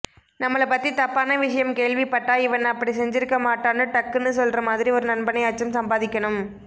நம்மள பத்தி தப்பான விஷயம் கேள்விப்பட்டா இவன் அப்படி செஞ்சிருக்க மாட்டான்னு டக்குன்னு சொல்ற மாதிரி ஒரு நண்பனையாச்சும் சம்பாதிக்கணும்